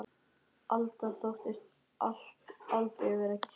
Alda þóttist aldrei vera skyggn.